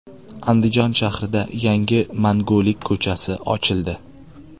Andijon shahrida yangi Mangulik ko‘chasi ochildi.